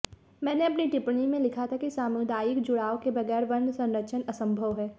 मैंने अपनी टिप्पणी में लिखा था कि सामुदायिक जुड़ाव के बगैर वन संरक्षण असंभव है